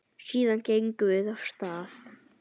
Síðan gengum við af stað.